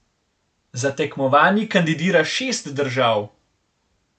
Za tekmovanji kandidira šest držav.